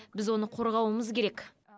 біз оны қорғауымыз керек